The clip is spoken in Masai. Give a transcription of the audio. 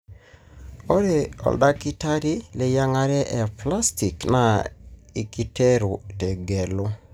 ore oldakitari leyiangare eplastic na ikiretu tegelu.